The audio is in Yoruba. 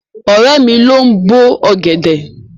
Ọ̀rẹ́ mi ló ń bó ọ̀gẹ̀dẹ̀.